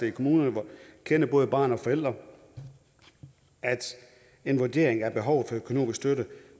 i kommunerne hvor man kender både børn og forældre at en vurdering af behovet for økonomisk støtte